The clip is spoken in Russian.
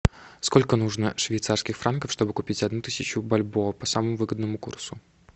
сколько нужно швейцарских франков чтобы купить одну тысячу бальбоа по самому выгодному курсу